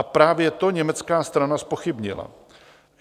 A právě to německá strana zpochybnila.